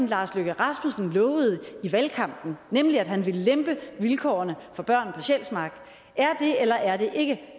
lars løkke rasmussen lovede i valgkampen nemlig at han ville lempe vilkårene for børn på sjælsmark er det eller er det ikke